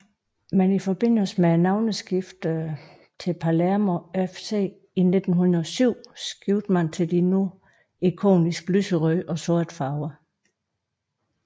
Men i forbindelse med navneskiftet til Palermo FC i 1907 skiftede man til de nu ikoniske lyserøde og sorte farver